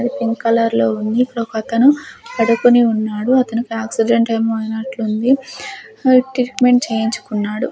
Pink colour లో ఉంది ఇక్కడొక్కతను పడుకొని ఉన్నాడు అతనికి ఆక్సిడెంట్ ఏమో అయినట్లుంది ట్రిక్మెంట్ చేయించుకున్నాడు.